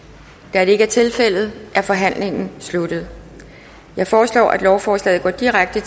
da det ikke er tilfældet er forhandlingen sluttet jeg foreslår at lovforslaget går direkte